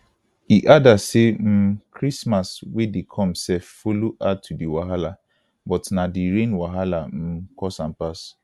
e adda say um christmas wey dey come self follow add to di wahala but na di rain wahala um cause am pass